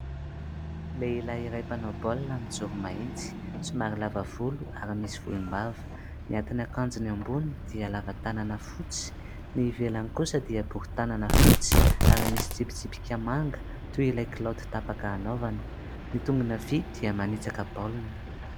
Lehilahy iray mpanao baolina mijoro mahitsy, somary lava volo ary misy volombava; ny atin'akanjony amboniny dia lavatanana fotsy, ny ivelany kosa dia bory tanana fotsy ary misy tsipitsipika manga, toy ilay kilaoty tapaka hanaovany; ny tongony havia dia manitsaka baolina.